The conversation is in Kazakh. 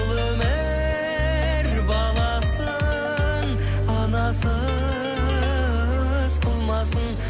бұл өмір баласын анасыз қылмасын